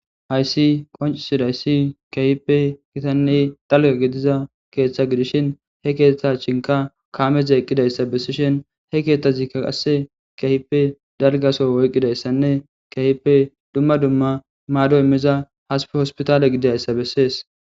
hayssi qoncisidayssi kahipe gitanney dalga gediza keeththa gidishin he keeththa chinka kaameze eqqidayssa bessishin he keeththazikka qasse kehipe dargaso woyqqidayssanne kehipe dumma dumma maado immiza haspe hospitaale gidayssa bessees